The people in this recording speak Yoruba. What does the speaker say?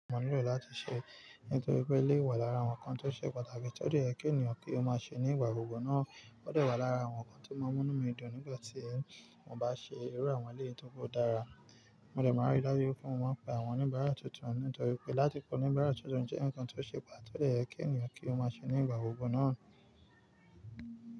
Mo nílò láti ṣe, nítorí pé lé wà lára àwọn ǹkan tó ṣe pàtàkì tó dé kí ènìyàn kí ó má ṣe ní ìgbà gbogbo náà ó dé wà lára àwọn nǹkan tí ó maa mú inú mi dùn nígbàtí mo bá ṣe irú àwọn eléyìí tóri dára. Mo lè máa rí àwọn ènìyàn láyé, kí n sì bá wọn sọ̀rọ̀ níbẹ̀ tuntun, nítorí pé láti kọ́ nípa àwọn ohun tuntun jẹ́ nǹkan tó ṣe pàtàkì, tó lè ràn ènìyàn lọ́wọ́ kí ó má bàa dúró sí ibi kan náà nígbà gbogbo.